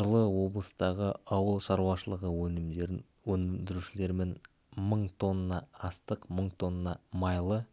жылы облыстағы ауыл шаруашылығы өнімдерін өндірушілерімен мың тонна астық мың тонна майлы